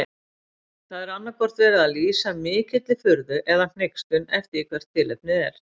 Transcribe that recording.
Þar er annaðhvort verið að lýsa mikilli furðu eða hneykslun eftir því hvert tilefnið er.